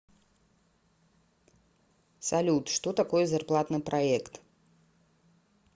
салют что такое зарплатный проект